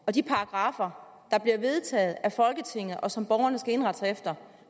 og de paragraffer der bliver vedtaget af folketinget og som borgerne skal indrette sig efter